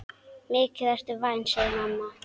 Mikið ertu vænn, segir mamma.